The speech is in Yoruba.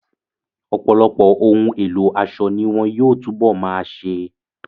Ọ̀pọ̀lọpọ̀ ohun èlò aṣọ ni wọn yóò tún bọ̀ máa ṣe.